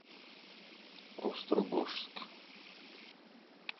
острогожск